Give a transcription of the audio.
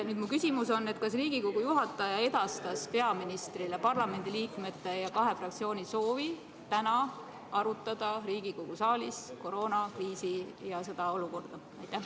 Nüüd minu küsimus: kas Riigikogu juhataja edastas peaministrile parlamendi liikmete ja kahe fraktsiooni soovi arutada täna Riigikogu saalis koroonakriisi ja seda olukorda?